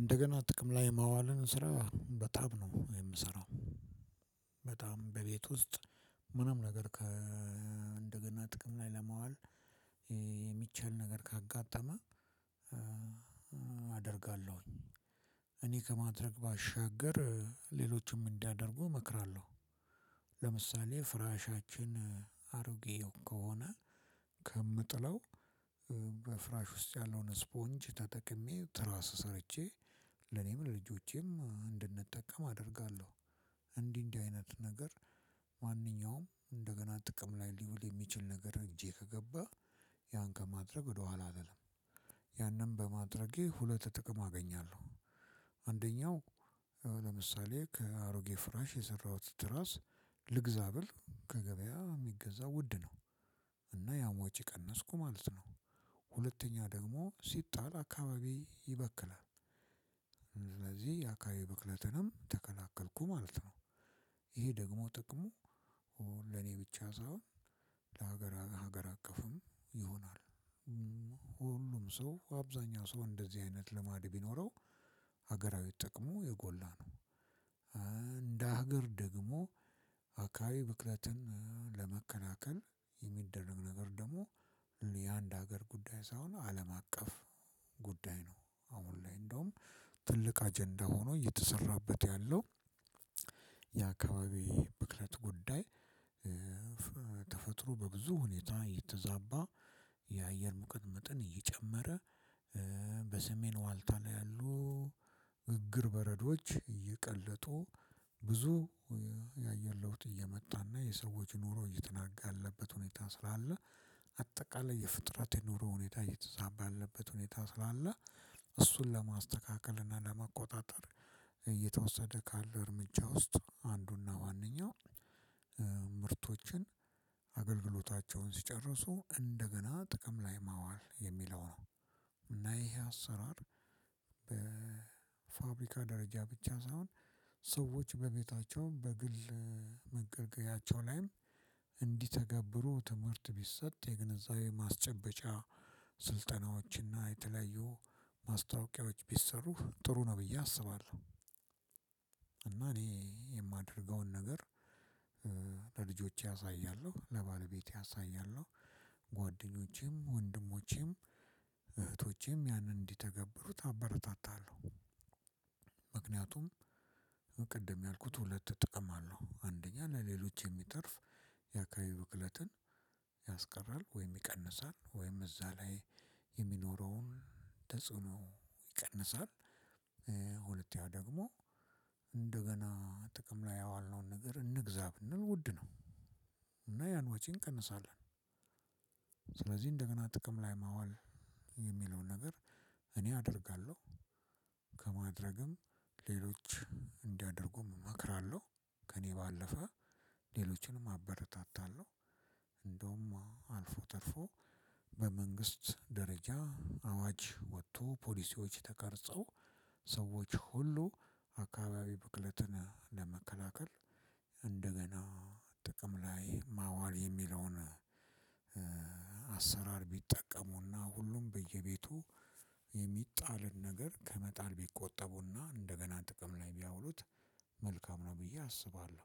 እንደገና ጥቅም ላይ የማዋልን ስራ በጣም ነው የምሰራው። በጣም በቤት ውስጥ ምንም ነገር ከ እንደገና ጥቅም ላይ ለማዋል የሚቻል ነገር ካጋጠመ አደርጋለሁኝ። እኔ ከማድረግ ባሻገር ሌሎችም እንዲያደርጉ እመክራለሁ። ለምሳሌ ፍራሻችን አሮጌ ከሆነ ከምጥለው በፍራሽ ውስጥ ያለውን ስፖንጅ ተጠቅሜ ትራስ ሰርቼ ለኔም ለልጆቼም እንድንጠቀም አደርጋለሁ። እንዲህ እንዲህ አይነት ነገር ማንኛውም እንደገና ጥቅም ላይ ሊውል የሚችል ነገር እጄ ከገባ ያን ከማድረግ ወደኋላ አልልም። ያንን በማድረጌ ሁለት ጥቅም አገኛለሁ። አንደኛው ለምሳሌ ከአሮጌ ፍራሽ የሰራሁት ትራስ ልግዛ ብል ከገበያ ሚገዛው ውድ ነው እና ያም ወጪ ቀነስኩ ማለት ነው። ሁለተኛ ደግሞ ሲጣል አካባቢ ይበክላል። ስለዚህ የአካባቢ ብክለትንም ተከላከልኩ ማለት ነው። ይሄ ደግሞ ጥቅሙ ለኔ ብቻ ሳይሆን ለሀገረ ሀገር አቀፍም ይሆናል። ሁሉም ሰው አብዛኛው ሰው እንደዚህ አይነት ልማድ ቢኖረው ሀገራዊ ጥቅሙ የጎላ ነው። እንደ ሀገር ደግሞ አካባቢ ብክለትን ለመከላከል የሚደረግ ነገር ደግሞ የአንድ ሀገር ጉዳይ ሳይሆን አለም አቀፍ ጉዳይ ነው። አሁን ላይ እንደውም ትልቅ አጀንዳ ሆኖ እየተሰራበት ያለው። የአካባቢ ብክለት ጉዳይ። ተፈጥሮ በብዙ ሁኔታ የተዛባ የአየር ሙቀት መጠን እየጨመረ በሰሜን ዋልታ ላይ ያሉ ግግር በረዶዎች እየቀለጡ ብዙ ያየአየር ለውጥ እየመጣና የሰዎች ኑሮ እየተናጋ ያለበት ሁኔታ ስላለ። አጠቃላይ የፍጥረት የኑሮ ሁኔታ እየተዛባ ያለበት ሁኔታ ስላለ። እሱን ለማስተካከል እና ለመቆጣጠር እየተወሰደ ካለ እርምጃ ውስጥ አንዱና ዋነኛውም ምርቶችን አገልግሎታቸውን ሲጨርሱ እንደገና ጥቅም ላይ ማዋል የሚለው ነው። እና ይሄ አሰራር በፋብሪካ ደረጃ ብቻ ሳይሆን በቤታቸውም በግል መገልገያቸው ላይም እንዲተገብሩ ትምህርት ቢሰጥ የግነዛቤ ማስጨበጫ ስልጠናዎችና የተለያዩ ማስታወቂያዎች ቢሰሩ ጥሩ ነው ብዬ አስባለሁ። እና እኔ የማደርገውን ነገር ለልጆቼ አሳያለሁ ለባለቤቴ አሳያለሁ ጓደኞቼም ወንድሞቼም እህቶቼም ያንን እንዲተገብሩት አበረታታለሁ። ምክንያቱም ቅድም ያልኩት ሁለት ጥቅም አለው አንደኛ ለሌሎች የሚተርፍ የአካባቢ ብክለትን ያስቀራል ወይም ይቀንሳል ወይም እዛ ላይ የሚኖረውን ተጽዕኖ ይቀንሳል። ሁለተኛው ደግሞ እንደገና ጥቅም ላይ ያዋልነውን ነገር እንግዛ ብንል ውድ ነው። እና ያን ወጪ እንቀንሳለን። ስለዚ እንደገና ጥቅም ላይ ማዋል የሚለውን ነገር እኔ አደርጋለሁ። ከማድረግም ሌሎች እንዲያደርጉም እመክራለሁ ከእኔ ባለፈ ሌሎችንም አበረታታለሁ። እንደውማ አልፎ ተርፎ በመንግስት ደረጃ አዋጅ ወጥቶ ፖሊሲዎች ተቀርጾ ሰዎች ሁሉ አካባቢ ብክለትን ለመከላከል እንደገና ጥቅም ላይ ማዋል የሚለውን አሰራር ቢጠቀሙና ሁሉም በየቤቱ የሚጣልን ነገር ከመጣል ቢቆጠቡና እንደገና ጥቅም ላይ ቢያውሉት መልካም ነው ብዬ አስባለሁ።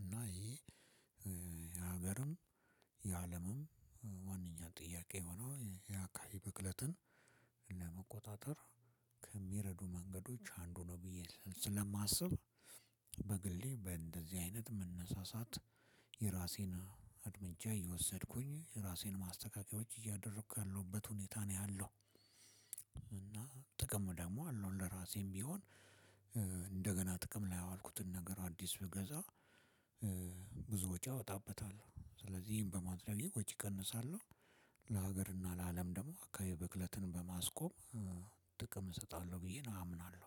እና ይሄ የሀገርም ይዓለምም ዋንኛ ጥያቄ ሆኖ የአካባቢ ብክለትን ለመቆጣጠር ከሚረዱ መንገዶች አንዱ ነው ብዬ ስለማስብ። በግሌ በእንደዚህ አይነት መነሳሳት የራሴን አርምጃ እየወሰድኩኝ የራሴን ማስተካከያዎች እያደረኩ ካለሁበት ሁኔታ ነው ያለው። እና ጥቅሙ ደግሞ አለው ለራሴም ቢሆን። እንደገና ጥቅም ላይ ያዋልኩትን ነገር አዲስ ብገዛ ብዙ ወጪ አወጣበታለሁ ስለዚህ ይሄን በማድረጌ ወጪ እቀንሳለሁ። ለሀገርና ለአለም ደግሞ አካባቢ ብክለትን በማስቆም ጥቅም እሰጣለሁ ብዬ ነው አምናለሁ።